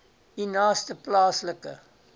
u naaste plaaslike